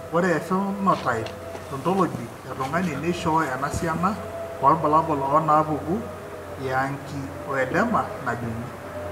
Ore ephenotype ontology etung'ani neishooyo enasiana oorbulabul onaapuku eangioedema najung'i.